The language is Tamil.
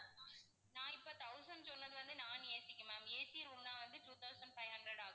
நான் இப்போ thousand சொன்னது வந்து non AC க்கு ma'am AC room னா வந்து two thousand five hundred ஆகும்.